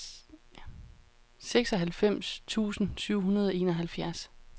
seksoghalvfems tusind syv hundrede og enoghalvfjerds